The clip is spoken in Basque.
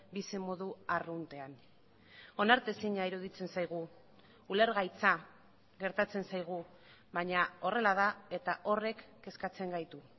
bizimodu arruntean onartezina iruditzen zaigu ulergaitza gertatzen zaigu baina horrela da eta horrek kezkatzen gaitu